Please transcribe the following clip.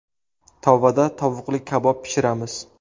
Tovada tovuqli kabob pishiramiz.